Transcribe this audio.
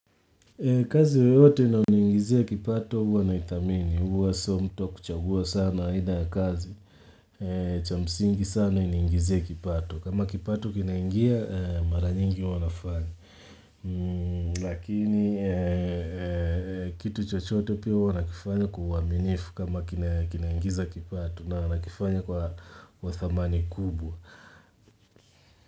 Kazi yoyote inayoniingizia kipato huwa na ithamini huwa sio mtu wa kuchagua sana aina ya kazi cha msingi sana inaingizie kipato kama kipato kinaingia mara nyingi huwa nafanya Lakini kitu chochote pia wana kifanya kuwaminifu kama kinaingiza kipato na wana kifanya kwa wathamani kubwa.